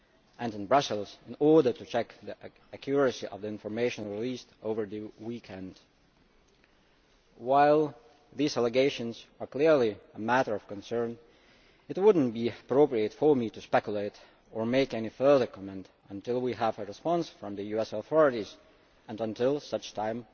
and in Brussels, to check the accuracy of the information released over the weekend. While these allegations are clearly a matter of concern, it would not be appropriate for me to speculate or make any further comment until we have a response from the US authorities and until such time